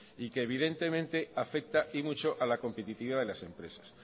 y que evidentemente afecta y mucho a la competitividad de las empresas